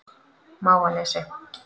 Mávanesi